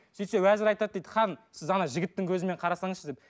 сөйтсе уәзір айтады дейді хан сіз ана жігіттің көзімен қарасаңызшы деп